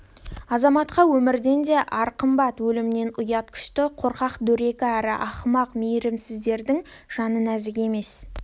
азаматқа өмірден де ар қымбат өлімнен ұят күшті қорқақ дөрекі әрі ақымақ мейірімсіздердің жаны нәзік емес